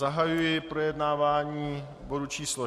Zahajuji projednávání bodu číslo